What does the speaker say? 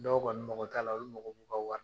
Dɔw kɔni mago t'a la olu mago b'u ka wari